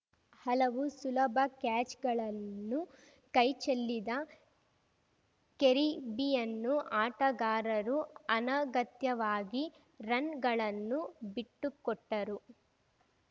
ಹಲವು ಸುಲಭ ಕ್ಯಾಚ್‌ಗಳನ್ನು ಕೈಚೆಲ್ಲಿದ ಕೆರಿಬಿಯನ್ನ್ ಆಟಗಾರರು ಅನಗತ್ಯವಾಗಿ ರನ್‌ಗಳನ್ನು ಬಿಟ್ಟುಕೊಟ್ಟರು